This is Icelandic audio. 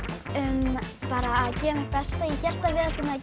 um að gera mitt besta ég hélt að við ættum að